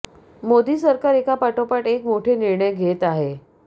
मोदी सरकार एका पाठोपाठ एक मोठे निर्णय घेत आहे